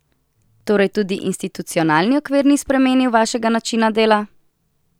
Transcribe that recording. Torej tudi institucionalni okvir ni spremenil vašega načina dela?